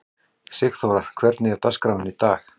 Sigþóra, hvernig er dagskráin í dag?